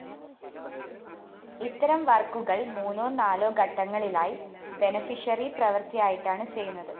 ഇത്തരം വര്‍ക്കുകള്‍ മൂന്നോ നാലോ ഘട്ടങ്ങളിലായി ബെനഫിഷറി പ്രവൃത്തിയായിട്ടാണ് ചെയ്യുന്നത്